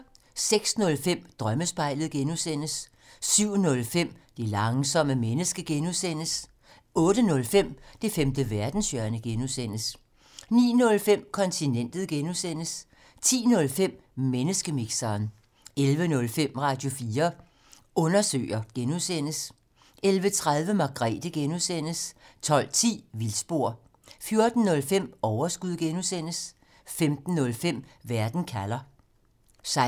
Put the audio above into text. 06:05: Drømmespejlet (G) 07:05: Det langsomme menneske (G) 08:05: Det femte verdenshjørne (G) 09:05: Kontinentet (G) 10:05: Menneskemixeren 11:05: Radio4 Undersøger (G) 11:30: Margrethe (G) 12:10: Vildspor 14:05: Overskud (G) 15:05: Verden kalder